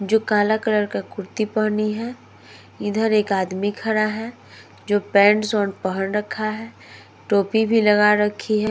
जो काला कलर का कुर्ती पहनी है। इधर एक आदमी खड़ा है। जो पैन्ट्स पहन रखा है। टोपी भी लगा रखी है।